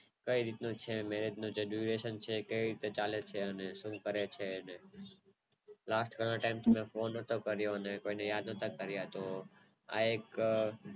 કઈ રીત નું Marriage નું Graduation અને કય રીત નું ચાલે છે અને શું કોઈ ને યાદ નોતા કરયા અને તો